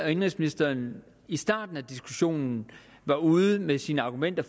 og indenrigsministeren i starten af diskussionen var ude med sine argumenter